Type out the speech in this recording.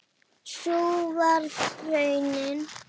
Sú varð raunin.